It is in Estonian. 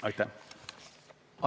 Aitäh!